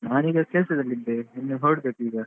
ನಾನ್ ಈಗ ಕೆಲ್ಸದ್ದಲಿ ಇದ್ದೇನೆ ಇನ್ ಹೊರಡ್ಬೇಕ್ ಈಗ.